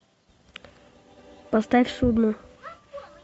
поставь судно